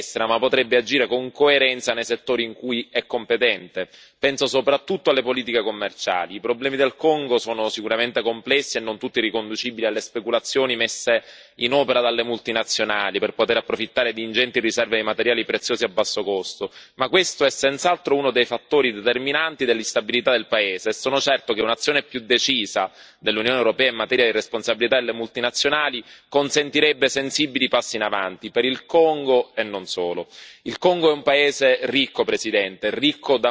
È vero che l'Unione europea non ha poteri cogenti in materia di politica estera, ma potrebbe agire con coerenza nei settori in cui è competente, penso soprattutto alle politiche commerciali. I problemi del Congo sono sicuramente complessi e non tutti riconducibili alle speculazioni messe in opera dalle multinazionali per poter approfittare di ingenti riserve di materiali preziosi a basso costo, ma questo è senz'altro uno dei fattori determinanti dell'instabilità del paese e sono certo che un'azione più decisa dell'Unione europea in materia di responsabilità delle multinazionali consentirebbe sensibili passi in avanti per il Congo e non solo.